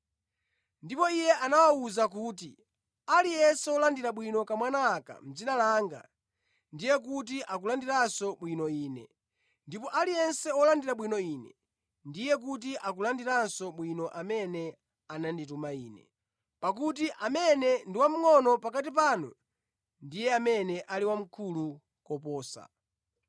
Ndipo Iye anawawuza kuti, “Aliyense wolandira bwino kamwana aka mʼdzina langa, ndiye kuti akulandiranso bwino Ine; ndipo aliyense wolandira bwino Ine, ndiye kuti akulandiranso bwino amene anandituma Ine. Pakuti amene ndi wamngʼono pakati panu, ndiye amene ali wamkulu koposa.”